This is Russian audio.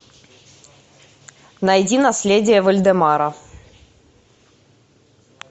найди наследие вальдемара